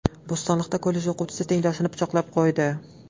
Bo‘stonliqda kollej o‘quvchisi tengdoshini pichoqlab qo‘ydi.